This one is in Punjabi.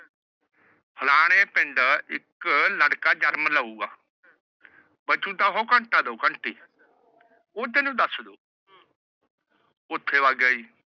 ਫਲਾਣੇ ਪਿੰਡ ਇੱਕ ਲੜਕਾ ਜਨਮ ਲਾਊਗਾ। ਬਚੂਗਾ ਤਾਂ ਉਹ ਘੰਟਾ ਦੋ ਘੰਟੇ। ਉਹ ਤੈਨੂੰ ਦੱਸ ਦਾਉ। ਉੱਥੇ ਵਗ ਗਿਆ ਜੀ।